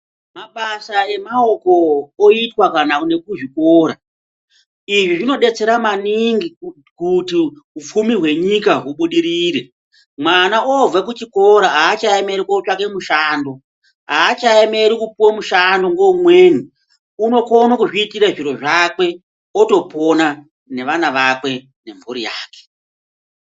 Mabasa emaoko oitwa kana nekuzvikora izvi zvinodetsera maningi kuti upfumi hwenyika ubudirire mwana obva kuchikora aachaemeri kotsvaka mushando aachaemeri kupuwe mushando ngeumweni unokone kuzviitira zviro zvake otopona neana akwe nemburi yakwe.